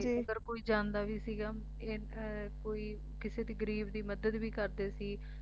ਜੇ ਅਗਰ ਕੋਈ ਜਾਂਦਾ ਵੀ ਸੀਗਾ ਇਹ ਅਮ ਕੋਈ ਕਿਸੇ ਦੀ ਗਰੀਬ ਦੀ ਮਦਦ ਵੀ ਕਰਦੇ ਸੀ